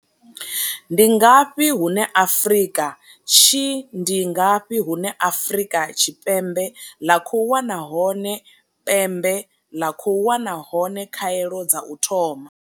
Ndi ngafhi hune Afrika Tshi Ndi ngafhi hune Afrika Tshipembe ḽa khou wana hone pembe ḽa khou wana hone khaelo dza u thoma?